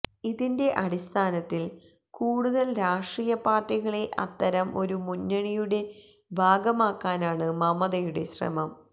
ഇതിന്റെ അടിസ്ഥാനത്തില് കൂടുതല് രാഷ്ട്രീയ പാര്ട്ടികളെ അത്തരം ഒരു മുന്നണിയുടെ ഭാഗമാക്കാനാണ് മമതയുടെ ശ്രമം